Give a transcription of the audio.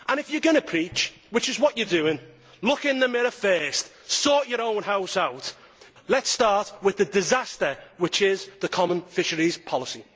If you are going to preach, which is what you are doing, look in the mirror first, sort your own house out and let us start with the disaster which is the common fisheries policy.